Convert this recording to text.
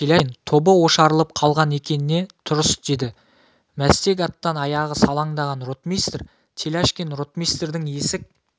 теляшкин тобы ошарылып қалған екен не тұрыс деді мәстек аттан аяғы салаңдаған ротмистр теляшкин ротмистрдің есек